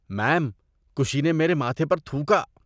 میم، کشی نے میرے ماتھے پر تھوکا۔